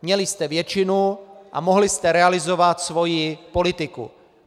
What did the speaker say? Měli jste většinu a mohli jste realizovat svou politiku.